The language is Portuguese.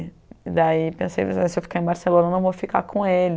E, daí, pensei, se eu ficar em Barcelona, eu vou ficar com ele.